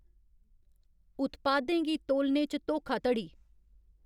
उत्पादें गी तोलने च धोखाधड़ी